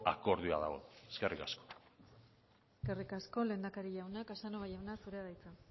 akordioa dago eskerrik asko eskerrik asko lehendakari jauna casanova jauna zurea da hitza